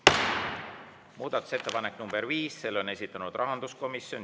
Muudatusettepanek nr 5, selle on esitanud rahanduskomisjon.